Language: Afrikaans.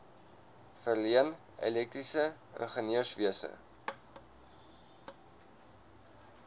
verleen elektriese ingenieurswese